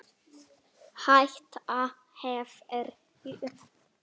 Hætta hverju?